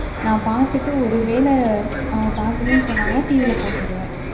நான் பாத்துட்டு ஒருவேலை அவங்க பாக்கணும் சொன்னாங்கன்னா TV ல போட்டுவிடுவேன்.